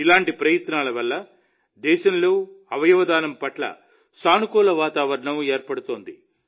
ఇలాంటి ప్రయత్నాల వల్ల దేశంలో అవయవదానం పట్ల సానుకూల వాతావరణం ఏర్పడుతోంది